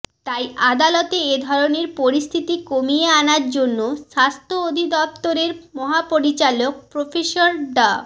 তাই আদালত এ ধরনের পরিস্থিতি কমিয়ে আনার জন্য স্বাস্থ্য অধিদফতরের মহাপরিচালক প্রফেসর ডা